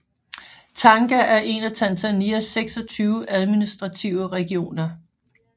Tanga er en af Tanzanias 26 administrative regioner